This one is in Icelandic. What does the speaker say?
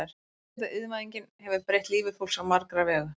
Kyrrseta Iðnvæðingin hefur breytt lífi fólks á marga vegu.